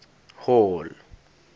hall